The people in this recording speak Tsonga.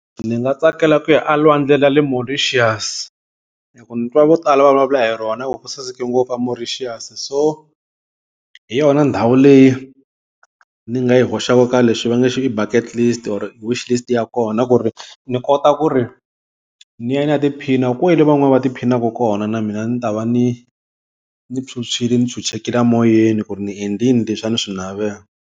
Ndzi nga tsakela ku ya a lwandle ra le Mauritius, hi ku ni twa vo tala va vulavula hi rona va ku ku saseka ngopfu a Mauritius So hi yona ndhawu leyi ni nga yi hoxaka ka lexi va nge xi i Backet list or wish list ya kona ku ri ni kota ku ri ni ya ni ya tiphina kwale van'wani va ti phinaka kona. Na mina ni ta va ni ni phyuphyile ni chuchekile a moyeni ku ri ni endlile leswi a ni swi navela.